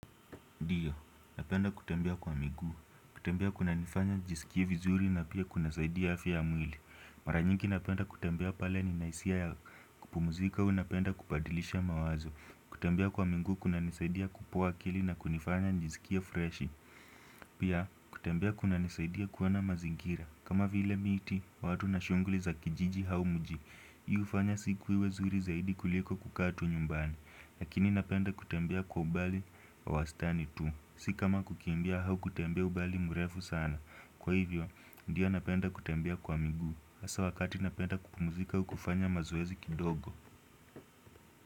Ndiyo, napenda kutembea kwa miguu, kutembea kunanifanya nijisikie vizuri na pia kunasaidia afya ya mwili. Mara nyingi napenda kutembea pale ni nahisia ya kupumzika, unapenda kupadilisha mawazo. Kutembea kwa miguu, kunanisaidia kufufua akili na kunifanya nijisikie fresh. Pia, kutembea kunanisaidia kuona mazingira. Kama vile miti, watu na shunguli za kijiji au mji. Hii hufanya siku iwe nzuri zaidi kuliko kukaa tu nyumbani. Lakini napenda kutembea kwa umbali wa wasitani tu. Si kama kukimbia au kutembea umbali mrefu sana. Kwa hivyo, ndio napenda kutembea kwa miguu hasa wakati napenda kupumzika au kufanya mazoezi kidogo.